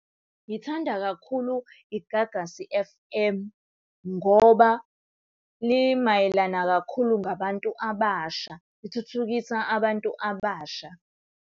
Ngithanda kakhulu iGagasi F_M. Ngoba limayelana kakhulu ngabantu abasha, lithuthukisa abantu abasha.